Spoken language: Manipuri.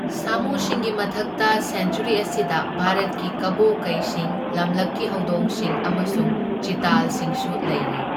ꯁꯥꯃꯨꯁꯤꯡꯒꯤ ꯃꯊꯛꯇ ꯁꯦꯟꯆ꯭ꯋꯔꯤ ꯑꯁꯤꯗ ꯚꯥꯔꯠꯀꯤ ꯀꯕꯣ ꯀꯩꯁꯤꯡ, ꯂꯝꯂꯛꯀꯤ ꯍꯧꯗꯣꯡꯁꯤꯡ ꯑꯃꯁꯨꯡ ꯆꯤꯇꯥꯜꯁꯤꯡꯁꯨ ꯂꯩꯔꯤ꯫